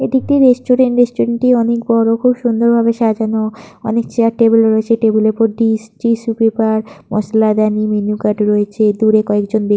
এটি একটি restaurant restaurant - টি অনেক বড় খুব সুন্দরভাবে সাজানো । অনেক চেয়ার টেবিল রয়েছে । টেবিল - এর ওপর ডিশ টিস্যু পেপার মসলা দানি মেনু কার্ড রয়েছে । দূরে কয়েকজন ব্যক্তি --